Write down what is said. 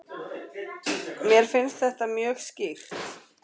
Mér finnst þetta mjög skýrt.